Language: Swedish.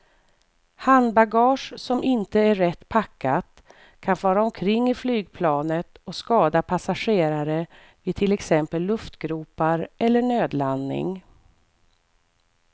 Handbagage som inte är rätt packat kan fara omkring i flygplanet och skada passagerare vid till exempel luftgropar eller nödlandning.